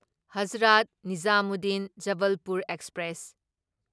Hazrat Nizamuddin Jabalpur express